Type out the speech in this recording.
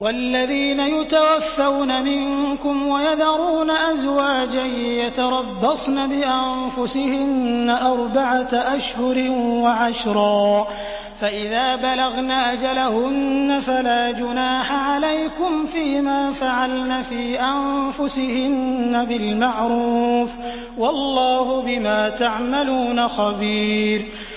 وَالَّذِينَ يُتَوَفَّوْنَ مِنكُمْ وَيَذَرُونَ أَزْوَاجًا يَتَرَبَّصْنَ بِأَنفُسِهِنَّ أَرْبَعَةَ أَشْهُرٍ وَعَشْرًا ۖ فَإِذَا بَلَغْنَ أَجَلَهُنَّ فَلَا جُنَاحَ عَلَيْكُمْ فِيمَا فَعَلْنَ فِي أَنفُسِهِنَّ بِالْمَعْرُوفِ ۗ وَاللَّهُ بِمَا تَعْمَلُونَ خَبِيرٌ